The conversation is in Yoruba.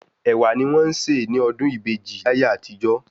Ẹ̀wà ni wọ́n ń se ní ọdún ìbejì láyé àtijó